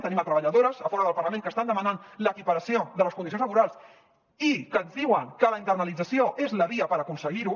tenim treballadores a fora del parlament que estan demanant l’equiparació de les condicions laborals i que ens diuen que la internalització és la via per aconseguir ho